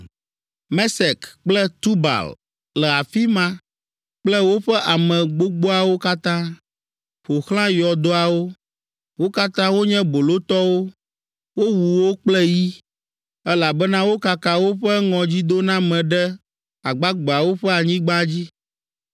“Mesek kple Tubal le afi ma kple woƒe ame gbogboawo katã, ƒo xlã yɔdoawo. Wo katã wonye bolotɔwo, wowu wo kple yi, elabena wokaka woƒe ŋɔdzidoname ɖe agbagbeawo ƒe anyigba dzi.